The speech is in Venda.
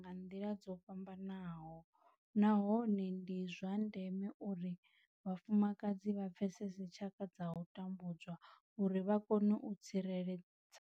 Nga nḓila dzo fhambanaho nahone ndi zwa ndeme uri vhafumakadzi vha pfesese tshaka dza u tambudzwa uri vha kone u tsireledza.